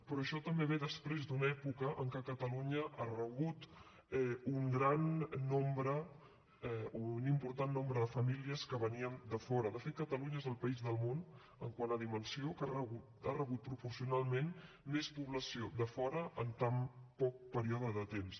però això també ve després d’una època en què catalunya ha rebut un gran nombre o un important nombre de famílies que venien de fora de fet catalunya és el país del món quant a dimensió que ha rebut proporcionalment més població de fora en un període tan curt de temps